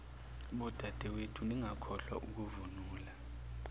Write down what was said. bodadewethu ningakhohlwa ukuvunula